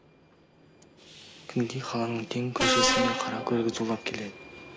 күнгей қаланың кең көшесінде қара көлік зулап келеді